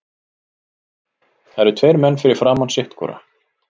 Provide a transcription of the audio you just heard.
Það eru tveir menn fyrir framan sitt hvora.